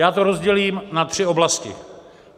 Já to rozdělím na tři oblasti.